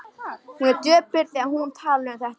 Hún er döpur þegar hún talar um þetta.